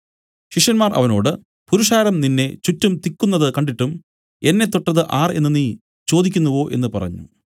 ശിഷ്യന്മാർ അവനോട് പുരുഷാരം നിന്നെ ചുറ്റും തിക്കുന്നത് കണ്ടിട്ടും എന്നെ തൊട്ടത് ആർ എന്നു നീ ചോദിക്കുന്നുവോ എന്നു പറഞ്ഞു